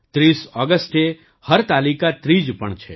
૩૦ ઑગસ્ટે હરતાલિકા ત્રીજ પણ છે